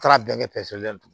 Taara bɛnkɛ pɛrɛn so la tugun